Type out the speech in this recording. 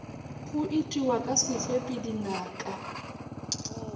go itiwa ka sefepi dinaka